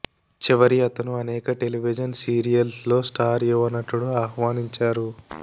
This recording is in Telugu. చివరి అతను అనేక టెలివిజన్ సీరియల్స్ లో స్టార్ యువ నటుడు ఆహ్వానించారు